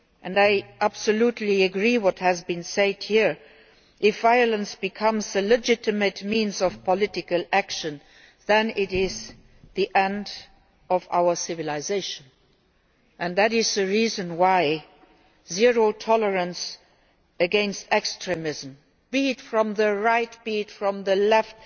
I absolutely agree with what has been said here if violence becomes a legitimate means of political action, it is the end of our civilisation. That is the reason why zero tolerance against extremism, be it from the right or the left,